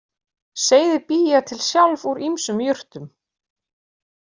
Seyðið bý ég til sjálf úr ýmsum jurtum